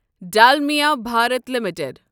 Dalmia Bharat limited